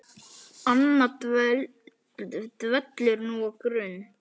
Anna dvelur nú á Grund.